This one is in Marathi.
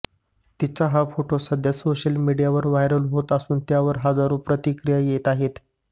तिचा हा फोटो सध्या सोशल मीडियावर व्हायरल होत असून त्यावर हजारो प्रतिक्रिया येत आहेत